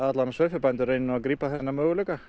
sauðfjárbændur reyni að grípa þennan möguleika